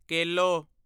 ਕੇਲੋ